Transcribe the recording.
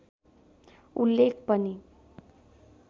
उल्लेख पनि